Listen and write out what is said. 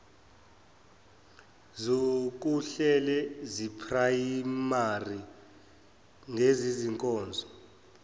zokuhlela zeprayimari ngezezinkonzo